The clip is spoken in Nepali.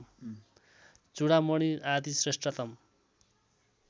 चूडामणि आदि श्रेष्ठतम